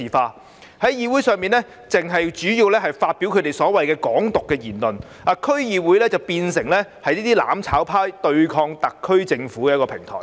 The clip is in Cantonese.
他們在區議會會議上主要是發表所謂的"港獨"言論，把區議會變成"攬炒派"對抗特區政府的平台。